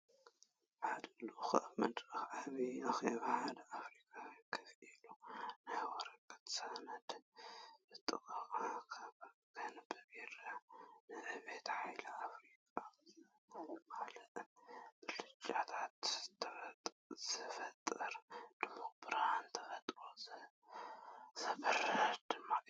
ሓደ ልኡኽ ኣብ መድረኽ ዓብይ ኣኼባ ሓይሊ ኣፍሪቃ ኮፍ ኢሉ፡ ናይ ወረቐት ሰነድ ብጥንቃቐ ከንብብ ይርአ። ንዕብየት ሓይሊ ኣፍሪቃ ዘመልክት ብልጭታ ዝፈጥርን ድሙቕ ብርሃን ተስፋ ዘብርህን ድማ እዩ።